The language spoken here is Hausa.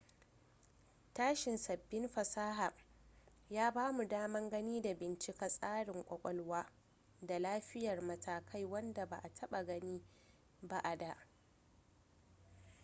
tashin sabbin fasaha ya bamu daman gani da bincika tsarin kwakwalwa da tafiyar matakai wadda ba a taba gani ba a da